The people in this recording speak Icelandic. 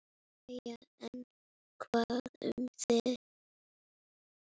Jæja, en hvað um það.